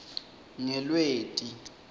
ngelweti